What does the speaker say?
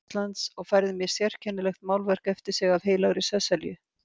Íslands og færði mér sérkennilegt málverk eftir sig af Heilagri Sesselju.